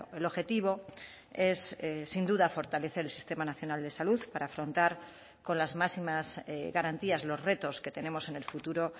el objetivo es sin duda fortalecer el sistema nacional de salud para afrontar con las máximas garantías los retos que tenemos en el futuro